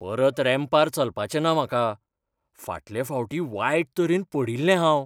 परत रॅम्पार चलपाचें ना म्हाका. फाटल्या फावटी वायट तरेन पडिल्लें हांव.